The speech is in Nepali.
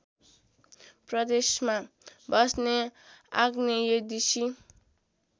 प्रदेशमा बस्ने आग्नेयदेशी